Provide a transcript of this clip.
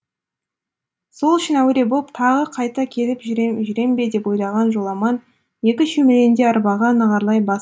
сол үшін әуре боп тағы қайта келіп жүрем бе деп ойлаған жоламан екі шөмелені де арбаға нығарлай бас